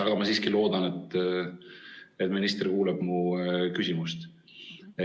Aga ma siiski loodan, et minister kuuleb mu küsimust.